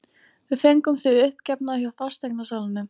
Við fengum þig uppgefna hjá fasteignasalanum.